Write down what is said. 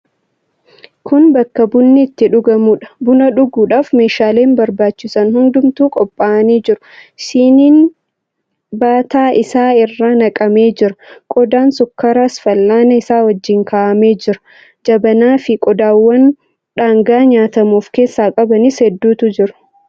Kun bakka bunni itti dhugamuudha. Buna dhuguudhaaf meeshaaleen barbaachisan hundumtuu qopha'anii argamu. Siniin bataa isaa irra naqamee jira. Qodaan sukkaaraas fal'aana isaa wajjin kaa'amee jira. Jabanaafi qodaawwan dhangaa nyaatamu of keessaa qabanis hedduutu jiru.